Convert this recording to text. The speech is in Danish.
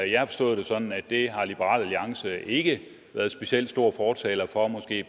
jeg har forstået det sådan at det har liberal alliance ikke været specielt stor fortaler for måske har